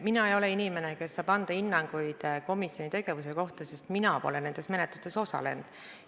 Mina ei ole inimene, kes saab anda hinnanguid komisjoni tegevuse kohta, sest mina pole nendes menetlustes osalenud.